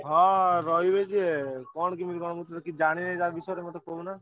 ହାଁ ରହିବି ଯେ କଣ କେମିତି କଣ ମୁଁ ତ କିଛି ଜାଣିନି ତା ବିଷୟରେ ମତେ ଟିକେ କହୁନ।